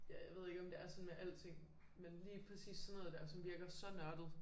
Ja jeg ved ikke om det er sådan med alting men lige præcis sådan noget dér som virker så nørdet